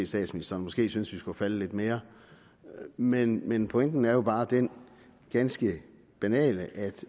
statsministeren måske synes vi skulle være faldet lidt mere men men pointen er jo bare den ganske banale at